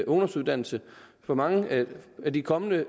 ungdomsuddannelse for mange af de kommende